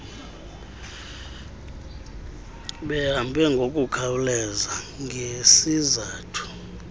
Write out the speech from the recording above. behambe ngokukhawuleza ngesizathu